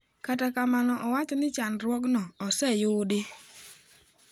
Kata kamano owacho ni chandruogno oseyudi.